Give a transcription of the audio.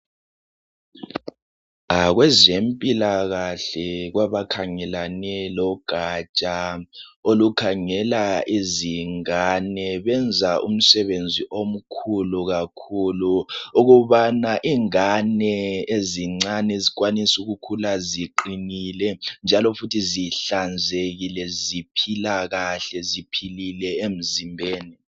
Kwezempilakahle kwabakhangelane logatsha olukhangela izingane, benza umsebenzi omkhulu kakhulu ukubana ingane ezincane zikwanise ukukhula ziqinile njalo futhi zihlanzekile ziphila kahle ziphilile emzimbeni.